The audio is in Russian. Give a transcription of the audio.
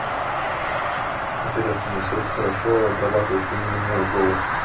интересно насколько хорошо обрабатывается именно мой голос